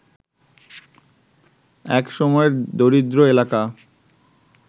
এক সময়ের দরিদ্র এলাকা